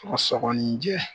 Sɔgɔsɔgɔnijɛ